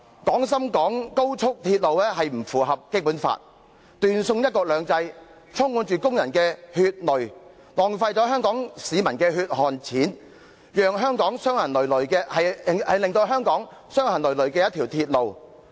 "廣深港高速鐵路並不符合《基本法》，既斷送"一國兩制"，充滿着工人的血淚，更是浪費香港市民的血汗錢，是一條令香港傷痕累累的鐵路。